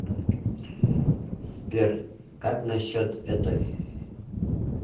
сбер как насчет этой